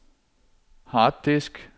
harddisk